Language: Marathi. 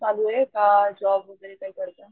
चालूये का जॉब वैगेरे काही करता.